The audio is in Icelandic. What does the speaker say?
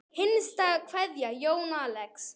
Hinsta kveðja Jón Axel.